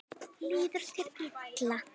Líður þér illa?